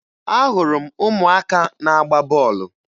Ahụrụ m ụmụaka na-agba bọọlụ